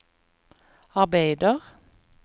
arbeider